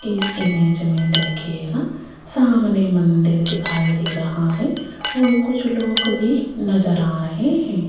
इस इमेज में देखिएगा सामने मंदिर दिखाई दे रहा है और कुछ लोग भी नजर आ रहे हैं।